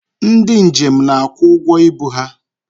Ndị njem na-akwụ ụgwọ ibu ha.